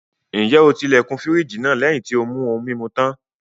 Ǹjẹ́ o ti ilẹ̀kùn fírìjì náà lẹ́yìn tí ó mú ohun-mimu tán?